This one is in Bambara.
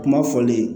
Kuma fɔli